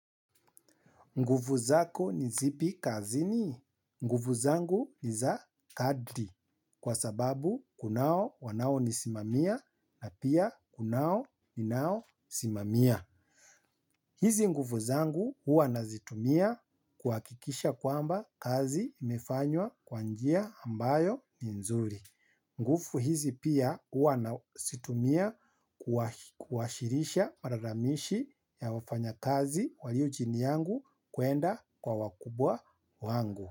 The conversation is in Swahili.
Nguvu zako ni zipi kazini? Ngufu zangu ni za kadri kwa sababu kunao wanao nisimamia na pia kunao ninao simamia. Hizi nguvu zangu huwa nazitumia kuhakikisha kwamba kazi imefanywa kwa njia ambayo ni nzuri. Nguvu hizi pia huwa nazitumia kuwasilisha malalamishi ya wafanyakazi walio chini yangu kuenda kwa wakubwa wangu.